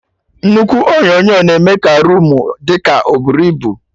Nnukwu onyonyo na-eme ka roomu dị ka oburu ibu